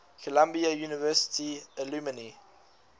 columbia university alumni